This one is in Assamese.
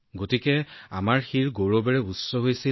গতিকে আমাৰ হৃদয় গৌৰৱেৰে উপচি পৰিছিল